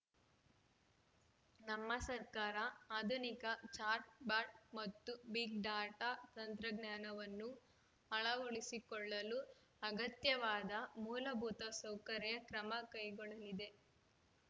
ನಮ್ಮ ಸರ್ಕಾರ ಆಧುನಿಕ ಚಾಟ್ ಬಾಟ್ ಮತ್ತು ಬಿಗ್ ಡಾಟಾ ತಂತ್ರಜ್ಞಾನವನ್ನು ಅಳವಡಿಸಿಕೊಳ್ಳಲು ಅಗತ್ಯವಾದ ಮೂಲಭೂತ ಸೌಕರ್ಯ ಕ್ರಮ ಕೈಗೊಳ್ಳಲಿದೆ